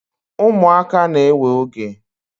umuaka na-ewe oge